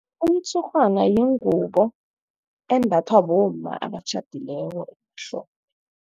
Umtshurhwana yingubo embathwa bomma abatjhadileko emahlombe.